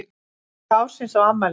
Kaka ársins á afmælinu